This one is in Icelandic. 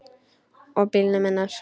Og bílnum hennar.